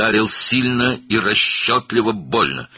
Güclü və ağılla ağrılı şəkildə vurdu.